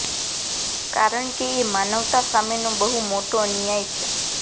કારણ કે એ માનવતા સામેનો બહુ મોટો અન્યાય છે